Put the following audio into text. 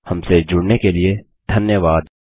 हमसे जुड़ने के लिए धन्यवाद